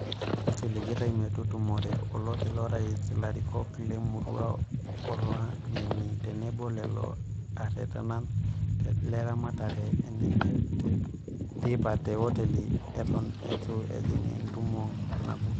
Kisiligitay metutumore oloti lorais ilarikok lemurua olangeni tenebo lelo aretenan le ramatare eneye teipa te hoteli eton eitu ejing entumo nagut.